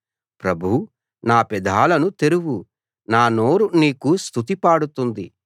ప్రభూ నా పెదాలను తెరువు నా నోరు నీకు స్తుతి పాడుతుంది